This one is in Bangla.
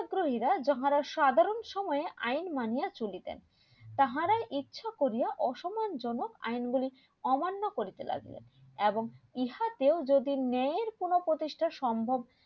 গ্রহীরা যাহারা সাধারণ সময়ে আইন মানিয়া চলিতেন তাহারা ইচ্ছা করিয়া অসম্মান জনক আইন গুলি অমান্য করিতে লাগিলেন এবং ইহাতেও যদি ন্যায়ের কোনো প্রতিষ্টা সম্ভব